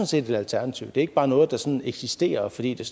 set et alternativ det er ikke bare noget der sådan eksisterer fordi der